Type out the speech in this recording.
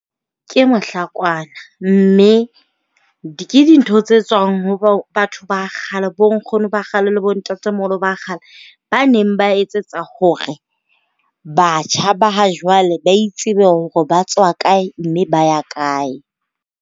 Ke mohlakwana. Mme ke dintho tse tswang ho batho ba kgale bo nkgono ba kgale le bo ntate moholo ba kgale, ba neng ba etsetsa hore batjha ba ha jwale ba itsebe hore ba tswa kae mme ba ya kae.